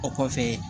O kɔfɛ